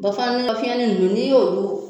Bɔ fana n'an ka fiɲɛn ni nunnu ni y'olu